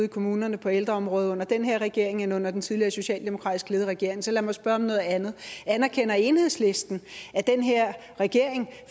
i kommunerne på ældreområdet under den her regering end under den tidligere socialdemokratisk ledede regering så lad mig spørge om noget andet anerkender enhedslisten at den her regering